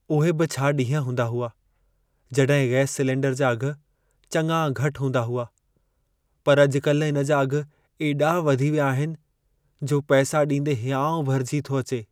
उहे बि छा ॾींहं हूंदा हुआ जॾहिं गैस सिलेंडर जा अघि चङा घटि हूंदा हुआ। पर अॼु-कल्हि इन जा अघि एॾा वधी विया आहिनि, जो पैसा ॾींदे हिंयाउ भरिजी थो अचे।